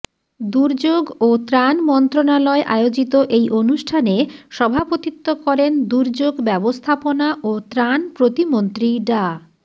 দুর্যোগ ও ত্রাণ মন্ত্রণালয় আয়োজিত এই অনুষ্ঠানে সভাপতিত্ব করেন দুর্যোগ ব্যবস্থাপনা ও ত্রাণ প্রতিমন্ত্রী ডা